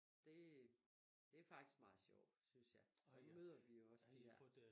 Det det faktisk meget sjovt synes jeg så møder vi jo også de der